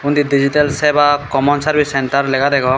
indi Digital Seva Common Service Centre lega degong.